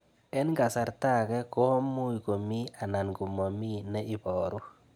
Eng' kasarta ag'e ko much ko mii anan komamii ne ibaru